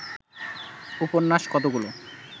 উপন্যাস কতগুলো